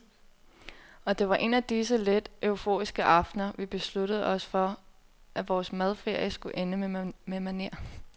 Og det var en af disse let euforiske aftener, vi besluttede os for at vores madferie skulle ende med maner.